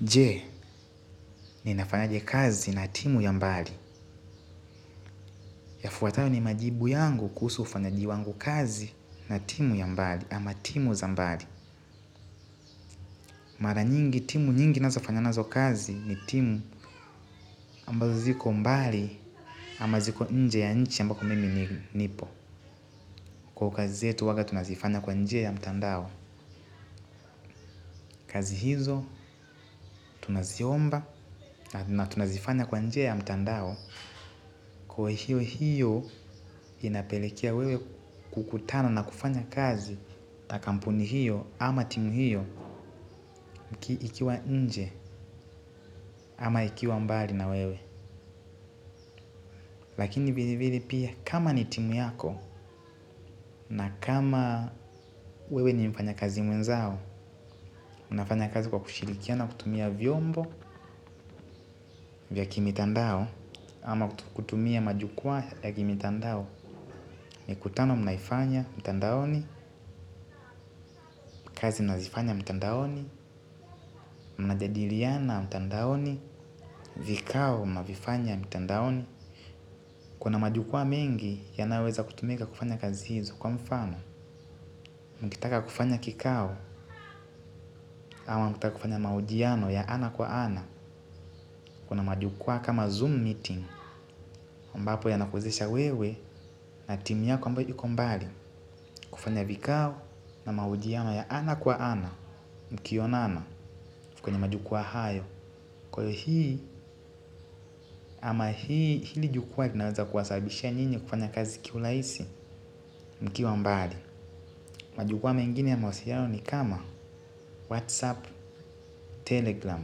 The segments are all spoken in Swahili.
Je, ninafanyaje kazi na timu ya mbali. Yafuatayo ni majibu yangu kuhusu ufanyaji wangu kazi na timu ya mbali ama timu za mbali. Mara nyingi timu nyingi nazo fanya nazo kazi ni timu ambazo ziko mbali ama ziko nje ya nchi ambako mimi nipo. Kwa kazi yetu huwaga tunazifanya kwa njia ya mtandao. Kazi hizo tunaziomba na tunazifanya kwa njia ya mtandao. Kwa hiyo hiyo inapelekea wewe kukutana na kufanya kazi na kampuni hiyo ama timu hiyo ikiwa nje ama ikiwa mbali na wewe. Lakini vile vile pia kama ni timu yako na kama wewe ni mfanyakazi mwenzao. Unafanya kazi kwa kushirikiana kutumia vyombo vya kimitandao ama kutumia majukwaa ya kimitandao. Mikutano mnaifanya mtandaoni, kazi mnazifanya mtandaoni, mnajadiliana mtandaoni, vikao mnavifanya mtandaoni. Kuna majukwaa mengi yanayoweza kutumika kufanya kazi hizo kwa mfano. Mkitaka kufanya kikao au mkitaka kufanya mahojiano ya ana kwa ana. Kuna majukwaa kama zoom meeting. Ambapo yanakuwezesha wewe na timu yako ambayo iko mbali. Kufanya vikao na maujiano ya ana kwa ana. Mkionana kwenye majukwaa hayo kwa hiyo hii ama hii hili jukwaa linaweza kuwasabishia nyinyi kufanya kazi kiurahisi mkiwa mbali majukwaa mengine ya mahusiano ni kama whatsapp telegram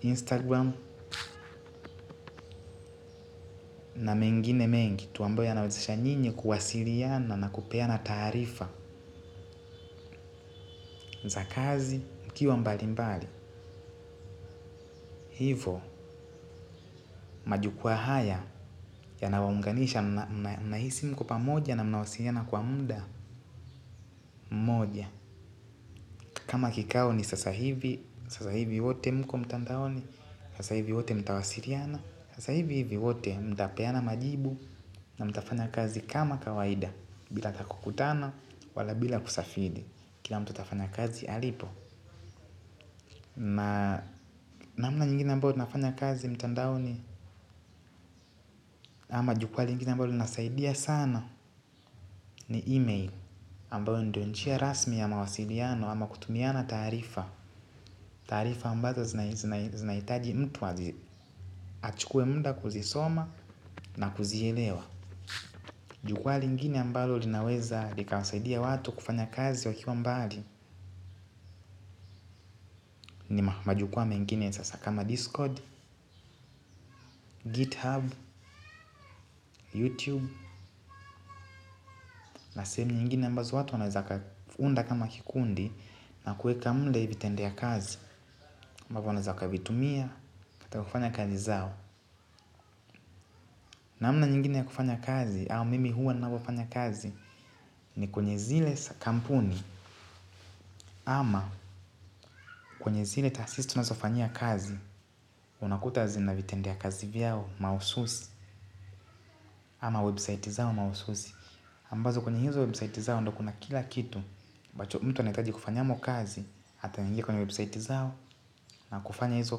instagram na mengine mengi tu amboya yanawezesha nyinyi kuwasiliana na kupeana taarifa za kazi mkiwa mbali mbali hivo majukwaa haya yanawaunganisha mnahisi mko pamoja na mnawasiliana kwa muda mmoja kama kikao ni sasa hivi sasa hivi wote mko mtandaoni sasa hivi wote mtawasiliana, sasa hivi hivi wote mtapeana majibu na mtafanya kazi kama kawaida, bila hata kukutana wala bila kusafiri, kila mtu atafanya kazi alipo. Namna nyingine ambayo tunafanya kazi mtandaoni ama jukwaa lingine ambalo linasaidia sana ni email ambayo ndo njia rasmi ya mawasiliano ama kutumiana taarifa. Taarifa ambazo zinahitaji mtu azi achukue muda kuzisoma na kuzielewa. Jukwaa lingine ambalo linaweza likawasaidia watu kufanya kazi wakiwa mbali. Majukwaa mengine sasa kama discord, github, youtube na sehemu nyingine ambazo watu wanaeza unda kama kikundi na kuweka muda vitende ya kazi ambavyo wanaeza wakavitumia hata kufanya kazi zao. Namna nyingine ya kufanya kazi au mimi huwa ninavyofanya kazi ni kwenye zile kampuni ama kwenye zile taasisi tunazofanyia kazi unakuta zina vitendea kazi vyao mahususi ama website zao mahususi ambazo kwenye hizo website zao ndo kuna kila kitu, ambacho mtu anahitaji kufanyamo kazi, ataingia kwenye website zao na kufanya hizo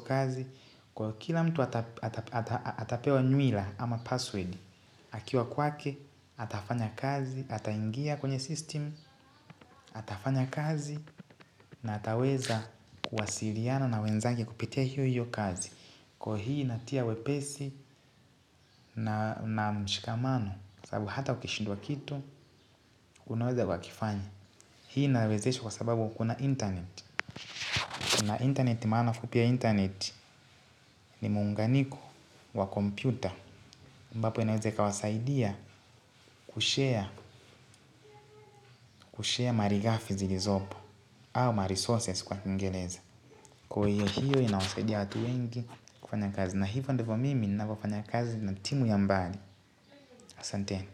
kazi. Kwa kila mtu atapewa nywila ama password, akiwa kwake, atafanya kazi, ataingia kwenye system, atafanya kazi na ataweza kuwasiliana na wenzanke kupitia hiyo hiyo kazi. Kwa hii inatia wepesi na mshikamano. Sababu hata ukishindwa kitu. Unaweza ukakifanya. Hii inawezesha kwa sababu kuna internet kuna internet maana fupi ya internet. Ni muunganiko wa kompyuta ambapo inaeza ikawasaidia kushare. Kushare maligafi zilizopo. Au maresources kwa kingereza. Kwa hiyo inawasaidia watu wengi kufanya kazi na hivyo ndivo mimi ninavyofanya kazi na timu ya mbali asanteni.